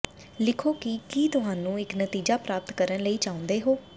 ਲਿਖੋ ਕਿ ਕੀ ਤੁਹਾਨੂੰ ਇੱਕ ਨਤੀਜਾ ਪ੍ਰਾਪਤ ਕਰਨ ਲਈ ਚਾਹੁੰਦੇ ਹੋ